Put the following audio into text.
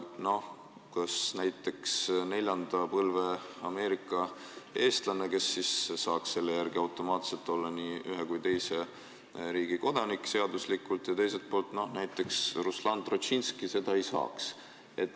No kas on õige, et näiteks neljanda põlve Ameerika eestlane saaks selle eelnõu järgi automaatselt olla nii ühe kui teise riigi kodanik, aga teiselt poolt näiteks Ruslan Trotšinski seda ei saa?